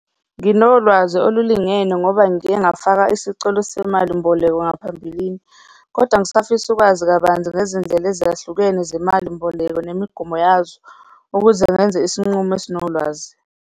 Nginolwazi olulingene ngoba ngike ngafaka isicelo semali mboleko ngaphambilini, kodwa ngisafisa ukwazi kabanzi ngezindlela ezahlukene zemali mboleko nemigomo yazo ukuze ngenze isinqumo esinolwazi.